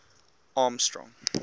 armstrong